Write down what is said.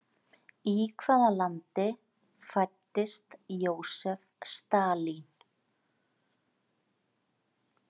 Í hvaða landi fæddist Jósef Stalín?